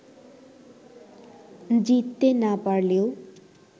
জিততে না পারলেও